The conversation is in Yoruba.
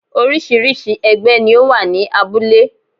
Orísìírísìí ẹgbẹ́ ni ó wà ní abúlé